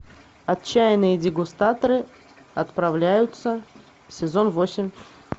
отчаянные дегустаторы отправляются сезон восемь